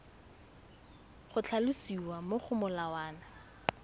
go tlhalosiwa mo go molawana